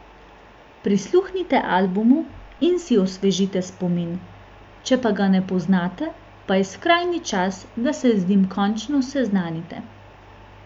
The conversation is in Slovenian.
Prisluhnite albumu in si osvežite spomin, če pa ga ne poznate, pa je skrajni čas, da se z njim končno seznanite!